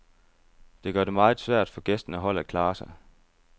Det gør det meget svært for gæstende hold at klare sig.